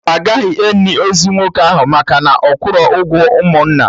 Agaghị eni ozu nwoke ahụ maka na ọ kwụrọ ụgwọ ụmụnna